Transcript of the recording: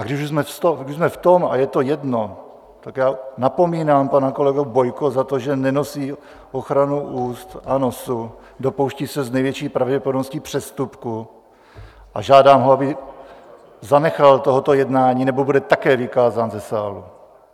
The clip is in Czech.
A když už jsme v tom, a je to jedno, tak já napomínám pana kolegu Bojko za to, že nenosí ochranu úst a nosu, dopouští se s největší pravděpodobností přestupku, a žádám ho, aby zanechal tohoto jednání, nebo bude také vykázán ze sálu.